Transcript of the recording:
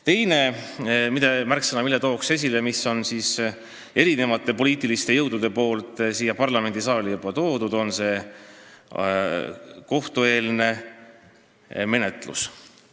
Teine märksõna, mille tooksin esile ja mille on erinevad poliitilised jõud siia parlamendisaali juba toonud, on kohtueelne menetlus.